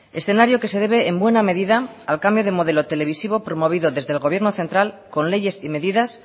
escenario que se debe en buena medida al cambio de modelo televisivo promovido desde el gobierno central con leyes y medidas